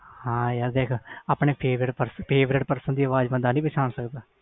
ਹਾਂ ਯਾਰ ਆਪਣੇ favourite person ਦੀ ਅਵਾਜ ਬੰਦਾ ਨੀ ਪਹਿਚਾਣ ਸਕਦਾ ਆ